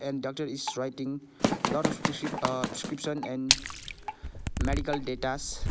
and doctor is writing lot of preci uh prescription and medical datas.